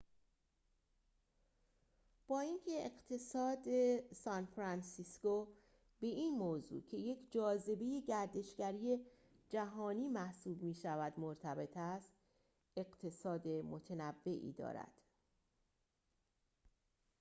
با اینکه اقتصاد سان‌فرانسیسکو به این موضوع که یک جاذبه گردشگری جهانی محسوب می‌شود مرتبط است اقتصاد متنوعی دارد